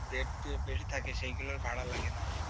bed যে bill থাকে সেগুলো ভাড়া লাগে না।